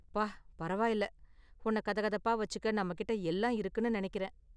அப்பா பரவாயில்ல. உன்னை கதகதப்பா வச்சிக்க நம்ம கிட்ட எல்லா இருக்குன்னு நினைக்கிறேன்.